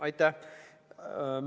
Aitäh!